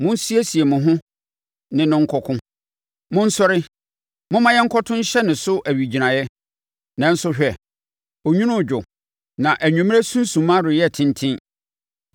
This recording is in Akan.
“Monsiesie mo ho ne no nkɔko! Monsɔre, momma yɛnkɔto nhyɛ ne so owigyinaeɛ! Nanso, hwɛ, onwunu redwo, na anwummerɛ sunsumma reyɛ tenten.